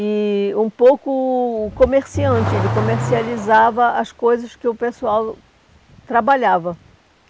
E um pouco comerciante, ele comercializava as coisas que o pessoal trabalhava.